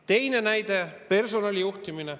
Teine näide: personali juhtimine.